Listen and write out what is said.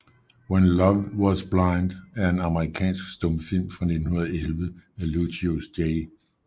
When Love Was Blind er en amerikansk stumfilm fra 1911 af Lucius J